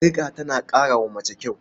Sarƙa tana ƙara wa mace kyau.